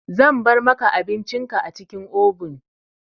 Zan bar maka abincin ka a cikin obin.